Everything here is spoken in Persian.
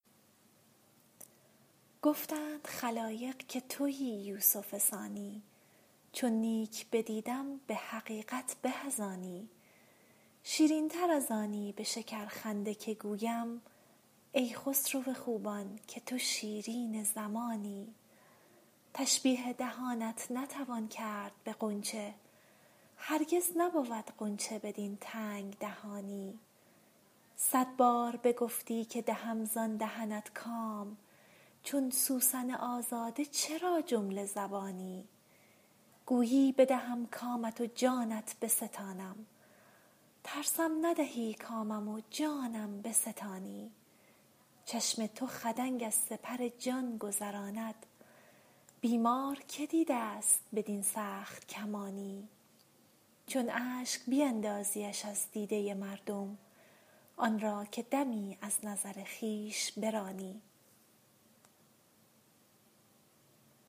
گفتند خلایق که تویی یوسف ثانی چون نیک بدیدم به حقیقت به از آنی شیرین تر از آنی به شکرخنده که گویم ای خسرو خوبان که تو شیرین زمانی تشبیه دهانت نتوان کرد به غنچه هرگز نبود غنچه بدین تنگ دهانی صد بار بگفتی که دهم زان دهنت کام چون سوسن آزاده چرا جمله زبانی گویی بدهم کامت و جانت بستانم ترسم ندهی کامم و جانم بستانی چشم تو خدنگ از سپر جان گذراند بیمار که دیده ست بدین سخت کمانی چون اشک بیندازیش از دیده مردم آن را که دمی از نظر خویش برانی